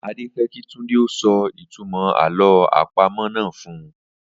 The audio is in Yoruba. Adé fé̩ kí Túndé ó so̩ ìtumò̩ àló̩ àpamò̩ náà fun